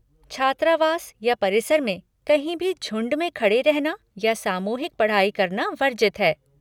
छात्रावास या परिसर में कहीं भी झुंड में खड़े रहना या सामूहिक पढ़ाई करना वर्जित है।